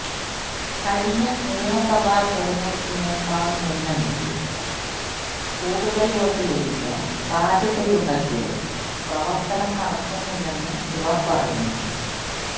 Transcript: കഴിഞ്ഞ നിയമസഭാ തെരഞ്ഞെടുപ്പിനേക്കാള് മുന്നണിക്ക് കൂടുതല് വോട്ട് ലഭിക്കാൻ സാധ്യതയുണ്ടെങ്കിലും പ്രവര്ത്തനം നടക്കുന്നില്ലെന്ന് ഇവര് പറയുന്നു